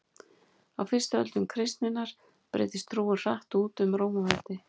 á fyrstu öldum kristninnar breiddist trúin hratt út um rómaveldi